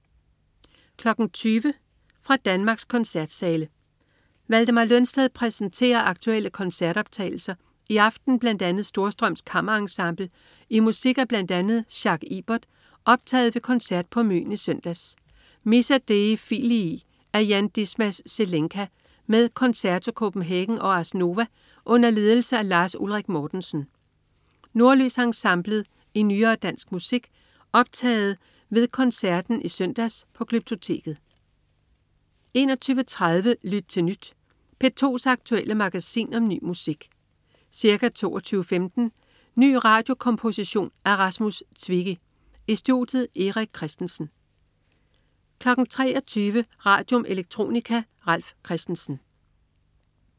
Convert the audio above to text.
20.00 Fra Danmarks koncertsale. Valdemar Lønsted præsenterer aktuelle koncertoptagelser, i aften bl.a. Storstrøms Kammerensemble i musik af bl.a. Jacques Ibert optaget ved koncert på Møn i søndags. Missa Dei Filii af Jan Dismas Zelenka med Concerto Copenhagen og Ars Nova under ledelse af Lars Ulrik Mortensen. Nordlys Ensemblet i nyere dansk musik optaget ved koncerten i søndags på Glyptoteket 21.30 Lyt til Nyt. P2's aktuelle magasin om ny musik. Ca. 22.15 Ny radiokomposition af Rasmus Zwicki. I studiet: Erik Christensen 23.00 Radium. Electronica. Ralf Christensen